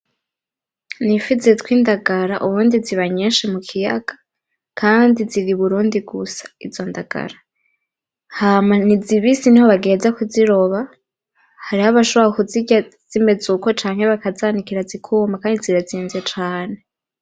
N'ifi zitwa indagara. Ubundi ziba nyinshi mu kiyaga kandi ziri i burundi gusa izo ndagara, hama ni zibisi niho bagiheza kuziroba hariho abashobora kuzirya zimeze uko bakazanikira zikuma kandi zirazimvye cane